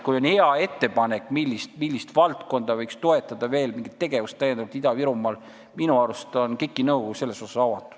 Kui on hea ettepanek, millist valdkonda või tegevust võiks Ida-Virumaal veel täiendavalt toetada, siis minu arust on KIK-i nõukogu sellele avatud.